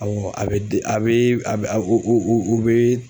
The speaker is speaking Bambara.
Awɔ a be da, a be u be